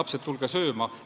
Lapsed, tulge sööma!